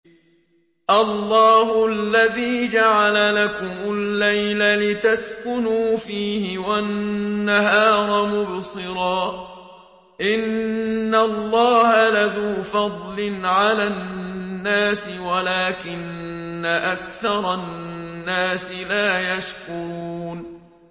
اللَّهُ الَّذِي جَعَلَ لَكُمُ اللَّيْلَ لِتَسْكُنُوا فِيهِ وَالنَّهَارَ مُبْصِرًا ۚ إِنَّ اللَّهَ لَذُو فَضْلٍ عَلَى النَّاسِ وَلَٰكِنَّ أَكْثَرَ النَّاسِ لَا يَشْكُرُونَ